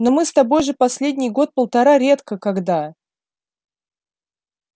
но мы с тобой же последний год-полтора редко когда